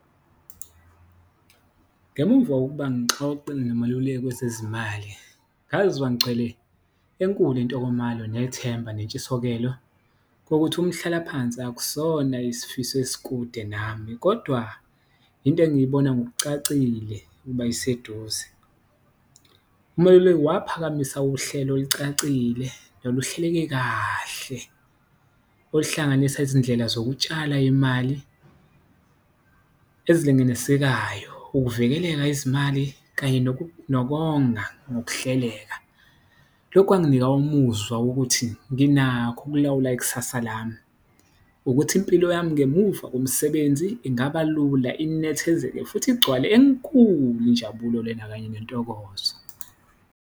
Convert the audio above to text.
Ngemumva kokuba ngixoxe nomaluleki wezezimali ngazizwa ngigcwele enkulu intokomalo nethemba, nentshisokelo kokuthi umhlalaphansi akusona isifiso esikude nami kodwa into engiyibona ngokucacile ukuba iseduze. Umeluleki waphakamisa uhlelo olucacile noluhleleke kahle oluhlanganisa izindlela zokutshala imali, ezilinganisekayo, ukuvikeleka izimali kanye nokonga ngokuhleka. Lokhu kwanginika umuzwa wokuthi nginakho ukulawula ikusasa lami ukuthi impilo yami ngemuva komsebenzi, ingaba lula, unethezeke futhi igcwale enkulu injabulo lena kanye nentokozo.